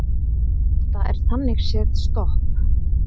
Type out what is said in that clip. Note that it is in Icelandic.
Þetta er þannig séð stopp